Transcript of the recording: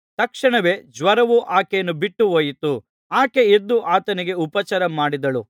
ಜ್ವರವು ಆಕೆಯನ್ನು ಬಿಟ್ಟುಹೋಯಿತು ಆಕೆ ಎದ್ದು ಆತನಿಗೆ ಉಪಚಾರಮಾಡಿದಳು